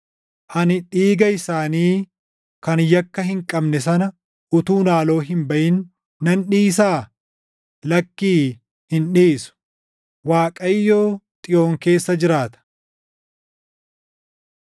Ani dhiiga isaanii kan yakka hin qabne sana utuun haaloo hin baʼin nan dhiisaa? Lakkii, hin dhiisu.” Waaqayyo Xiyoon keessa jiraata!